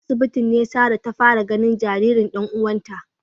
A asibitin ne Sarah taga fara ganin jaririn dan uwanta